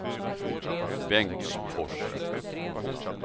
Bengtsfors